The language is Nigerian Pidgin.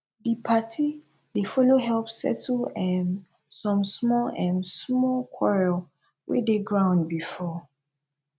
di party dey follow help settle um som small um small quarrel wey dey ground bifor